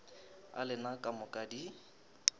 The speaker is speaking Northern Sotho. a lena ka moka di